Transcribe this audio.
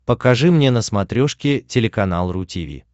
покажи мне на смотрешке телеканал ру ти ви